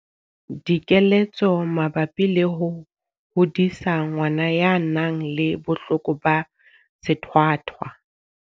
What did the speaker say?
Dikeletso mabapi le ho hodisa ngwana ya nang le bohloko ba sethwathwa.